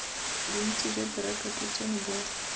bontsi jwa direkoto tseno bo